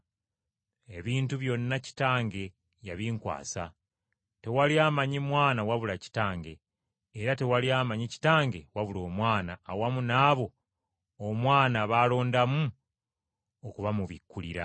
“Kitange yankwasa ebintu byonna. Tewali amanyi Mwana wabula Kitange, era tewali amanyi Kitange wabula Omwana awamu n’abo Omwana b’asiima okubamubikkulira.”